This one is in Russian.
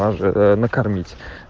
накормить